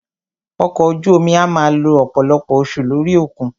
Ọkọ̀ ojú omi a máà lo ọ̀pọ̀lọpọ̀ oṣù lórí òkun.